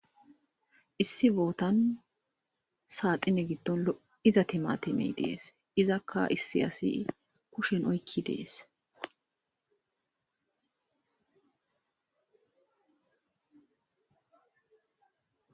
issi bootan saaxine giddon lo7iza timatemey dees izakka issi asi kushen oykki dees